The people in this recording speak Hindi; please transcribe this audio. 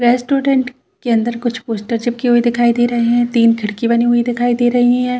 रेस्टोरंट के अंदर कुछ पोस्टर चिपकी हुई दिखाई दे रहे है तीन खिड़कियाँ बनी हुई दिखाई दे रही है।